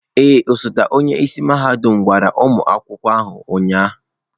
Ee, osote onye isi mahadum gwara ụmụ akwụkwọ ahụ ụnyahụ.